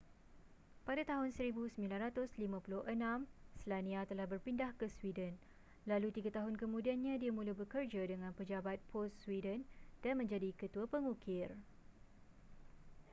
pada tahun 1956 słania telah berpindah ke sweden lalu tiga tahun kemudiannya dia mula bekerja dengan pejabat pos sweden dan menjadi ketua pengukir